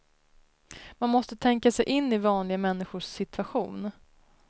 Man måste tänka sig in i vanliga människors situation.